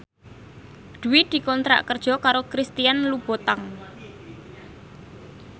Dwi dikontrak kerja karo Christian Louboutin